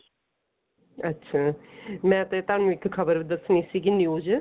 ਅੱਛਿਆ ਮੈਂ ਤੇ ਤੁਹਾਨੂੰ ਇੱਕ ਖਬਰ ਦੱਸਣੀ ਸੀਗੀ news